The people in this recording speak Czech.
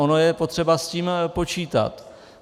Ono je potřeba s tím počítat.